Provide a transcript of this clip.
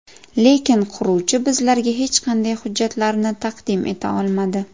Lekin quruvchi bizlarga hech qanday hujjatlarni taqdim eta olmadi.